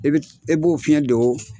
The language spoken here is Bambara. E bɛ b'o fiɲɛ do .